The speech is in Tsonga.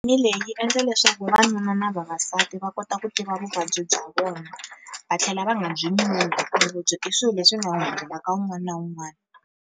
Ni leyi yi endla leswaku vanuna na vavasati va kota ku tiva vuvabyi bya vona, va tlhela va nga byi ku ri lebyi i swilo leswi nga wun'wana na wuun'wana.